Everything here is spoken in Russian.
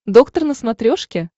доктор на смотрешке